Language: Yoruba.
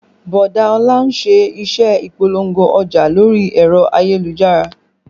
Bọ̀dá Ọlá ń ṣe iṣẹ́ Ìpolówó ọjà lórí ẹ̀rọ ayélujára